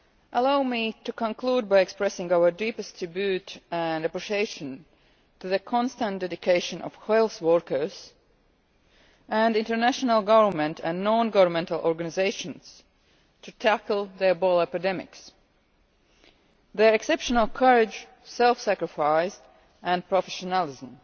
Allow me to conclude by expressing our deepest tribute and appreciation to the constant dedication of health workers and international governmental and non governmental organisations to tackle the Ebola epidemics, their exceptional courage, self sacrifice and professionalism.